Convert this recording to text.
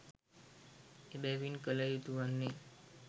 එබැවින් කළ යුතු වන්නේ